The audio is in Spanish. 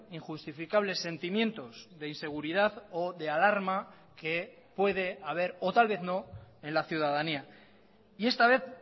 injustificables sentimientos de inseguridad o de alarma que puede haber o tal vez no en la ciudadanía y esta vez